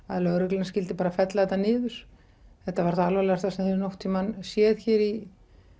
að lögreglan skyldi bara fella þetta niður þetta var það alvarlegasta sem þeir hafa nokkurn tímann séð hér í